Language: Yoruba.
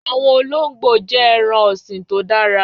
Àwọn olóńgbò jẹ́ ẹran-ọ̀sìn tó dára.